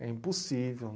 É impossível.